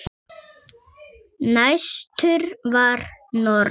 Næstur var norður.